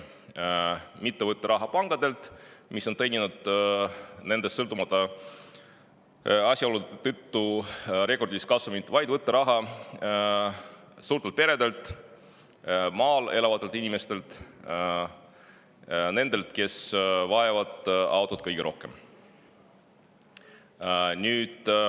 Nad mitte ei võta raha pankadelt, mis on nendest sõltumata asjaolude tõttu teeninud rekordilist kasumit, vaid suurtelt peredelt, maal elavatelt inimestelt, nendelt, kes vajavad autot kõige rohkem.